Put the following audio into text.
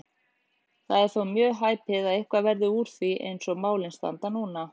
Það er þó mjög hæpið að eitthvað verði úr því eins og málin standa núna.